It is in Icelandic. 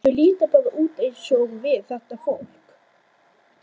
Þau líta bara út eins og við, þetta fólk.